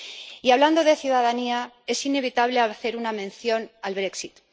Y hablando de ciudadanía, es inevitable hacer una mención al brexit